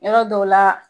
Yɔrɔ dɔw la